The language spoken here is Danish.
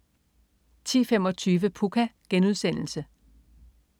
10.25 Pucca*